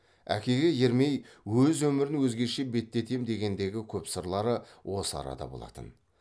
әкеге ермей өз өмірін өзгеше беттетем дегендегі көп сырлары осы арада болатын